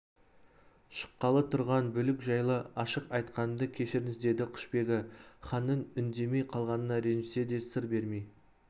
шыққалы тұрған бүлік жайлы ашық айтқанымды кешіріңіз деді құшбегі ханның үндемей қалғанына ренжісе де сыр бермей